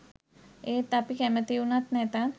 ඒත් අපි කැමැති වුණත් නැතත්